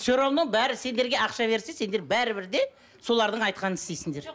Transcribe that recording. все равно бәрі сендерге ақша берсе сендер бәрібір де солардың айтқанын істейсіңдер